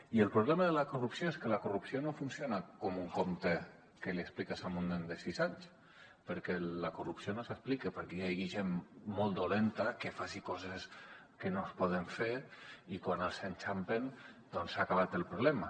i el problema de la corrupció és que la corrupció no funciona com un conte que li expliques a un nen de sis anys perquè la corrupció no s’explica perquè hi hagi gent molt dolenta que faci coses que no es poden fer i quan els enxampen doncs s’ha acabat el problema